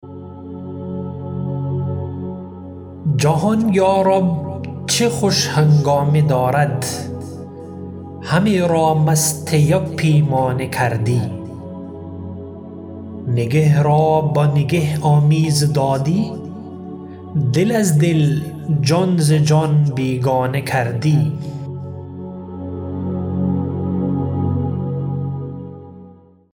جهان یارب چه خوش هنگامه دارد همه را مست یک پیمانه کردی نگه را با نگه آمیز دادی دل از دل جان ز جان بیگانه کردی